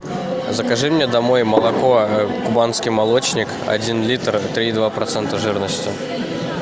закажи мне домой молоко кубанский молочник один литр три и два процента жирности